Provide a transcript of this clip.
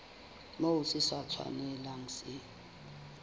moo se sa tshwanelang se